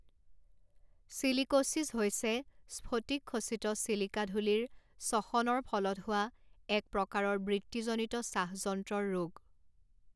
Silicosis হৈছে স্ফটিকখচিত silica ধূলিৰ শ্বসনৰ ফলত হোৱা এক প্ৰকাৰৰ বৃত্তিজনিত শ্বাসযন্ত্ৰৰ ৰোগ।